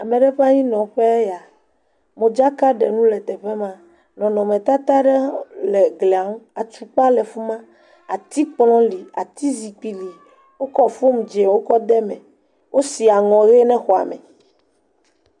Ame ɖe ƒe anyinɔƒee ya. Modzakaɖenu le tee ma. Nɔnɔmetata ɖe le glia ŋu. Atukpa le fi ma. Atikplɔ̃ li, Atizikpi li. Wokɔ fomu dzẽwo kɔ ɖe me. Wosi aŋɔ ʋe na xɔa me.